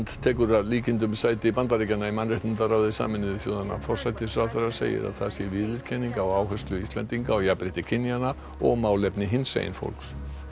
tekur að líkindum sæti Bandaríkjanna í mannréttindaráði Sameinuðu þjóðanna forsætisráðherra segir að það sé viðurkenning á áherslu Íslendinga á jafnrétti kynjanna og málefni hinsegin fólks